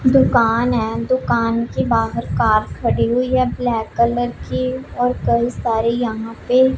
दुकान है दुकान के बाहर कार खड़ी हुई है ब्लैक कलर की और कई सारे यहां पे--